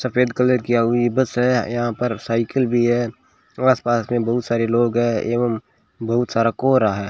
सफेद कलर किया हुई बस है यहां पर साइकिल भी है आसपास में बहुत सारे लोग हैं एवं बहुत सारा कोहरा है।